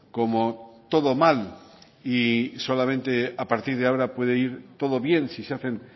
como todo mal y solamente a partir de ahora puede ir todo bien si se hacen